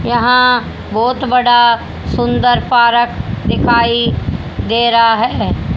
यहाँ बहोत बड़ा सुंदर पारक दिखाई दे रहा है।